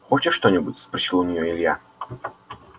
хочешь что-нибудь спросил у неё илья